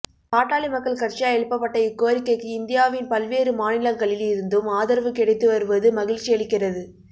பாட்டாளி மக்கள் கட்சியால் எழுப்பப்பட்ட இக் கோரிக் கைக்கு இந்தியாவின் பல்வேறு மாநிலங்களில் இருந்தும் ஆதரவு கிடைத்து வருவது மகிழ்ச்சியளிக்கிறது